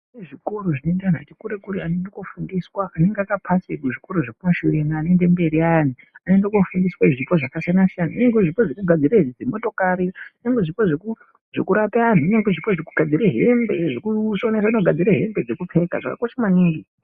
Zvikoro zvinoenda antu atikurekure anoende kunofundiswa anenge akapase kuzvikora zvekumashure anoende mberi ayani anoende kunofundiswa zvipo zvakasiyana-siyana nyangwe zvipo zvekugadzire dzimotokari nyangwe zvipo zvekurapa antu nyangwe zvipo zvekugadzire hembe zvekusona nekugadzire hembe dzekupfeka zvakakosha maningi.